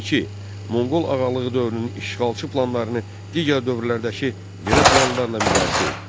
İki, Moğol Ağalığı dövrünün işğalçı planlarını digər dövrlərdəki belə planlarla müqayisə et.